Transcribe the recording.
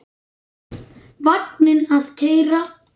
Vagninn að keyra.